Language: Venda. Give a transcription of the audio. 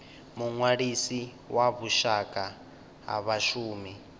muṅwalisi wa vhushaka ha vhashumi